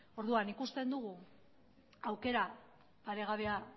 orduan ikusten dugu aukera paregabea